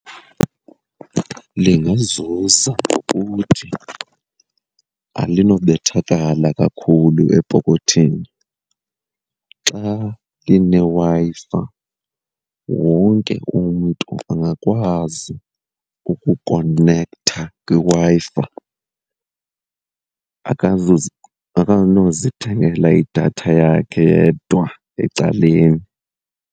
Lingazuza ngokuthi alinobethakala kakhulu epokothini. Xa lineWi-Fi wonke umntu angakwazi ukukonektha kwiWi-Fi akanozithengela idatha yakhe yedwa ecaleni.